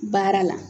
Baara la